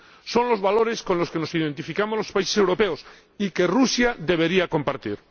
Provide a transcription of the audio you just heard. Son los valores con los que nos identificamos los países europeos, y que Rusia debería compartir.